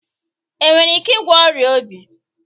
Enwere ike ịgwọ ọrịa obi?